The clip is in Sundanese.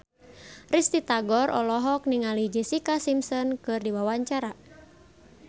Risty Tagor olohok ningali Jessica Simpson keur diwawancara